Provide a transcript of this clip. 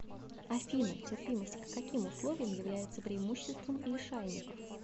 афина терпимость к каким условиям является преимуществом лишайников